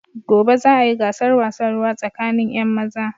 Gobe za a yi gasar wasan ruwa tsakanin 'yan maza.